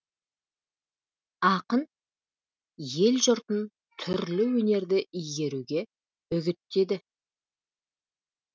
ақын ел жұртын түрлі өнерді игеруге үгіттеді